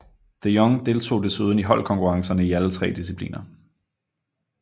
De Jong deltog desuden i holdkonkurrencerne i alle tre discipliner